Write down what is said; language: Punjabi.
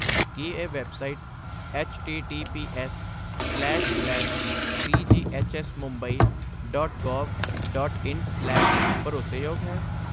ਕੀ ਇਹ website ਐੱਚਟੀਟੀਪੀਐੱਸਸਲੈਸ slash ਸੀਜੀਐੱਚਐੱਸਮੁਬੰਈ dot gov dot ਇਨ ਸਲੈਸ ਭਰੋਸੇਯੋਗ ਹੈ?